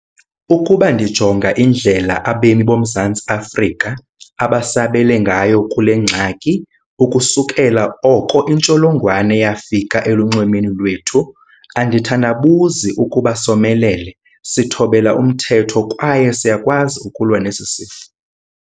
Ukuba ndijonga indlela abemi boMzantsi Afrika abasabele ngayo kule ngxaki ukusukela oko intsholongwane yafika elunxwemeni lwethu, andithandabuzi ukuba somelele, sithobela umthetho kwaye siyakwazi ukulwa nesi sifo.